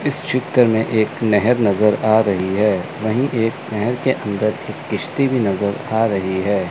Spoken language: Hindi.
इस चित्र में एक नहर नजर आ रही है। वहीं एक नहर के अंदर की किश्ती भी नजर आ रही है।